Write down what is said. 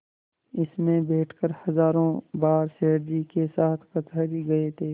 इसमें बैठकर हजारों बार सेठ जी के साथ कचहरी गये थे